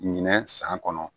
Ɲinɛ san kɔnɔ